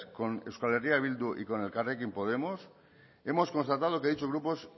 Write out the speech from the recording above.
con euskal herria bildu y elkarrekin podemos hemos constatado que dichos grupos